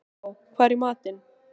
Maríkó, hvað er í matinn?